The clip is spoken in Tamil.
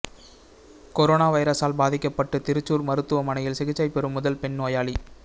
கொரோனா வைரசால் பாதிக்கப்பட்டு திருச்சூர் மருத்துவமனையில் சிகிச்சை பெறும் முதல் பெண் நோயாளி